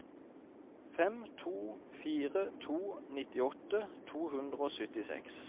fem to fire to nittiåtte to hundre og syttiseks